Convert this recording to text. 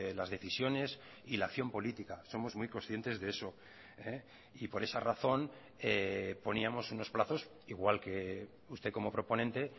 las decisiones y la acción política somos muy conscientes de eso y por esa razón poníamos unos plazos igual que usted como proponente